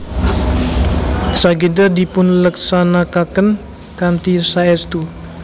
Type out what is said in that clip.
Sageda dipun leksanakaken kanthi saestu